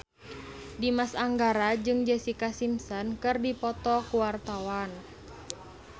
Dimas Anggara jeung Jessica Simpson keur dipoto ku wartawan